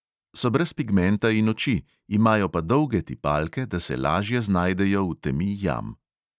So brez pigmenta in oči, imajo pa dolge tipalke, da se lažje znajdejo v temi jam.